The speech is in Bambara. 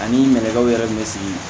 Ani nɛgɛw yɛrɛ bɛ sigi